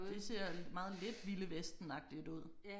Det ser meget lidt vilde vesten agtigt ud